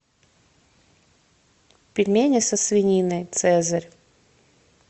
пельмени со свининой цезарь